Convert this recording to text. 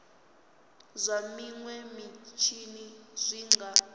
zwa minwe mitshini zwi nga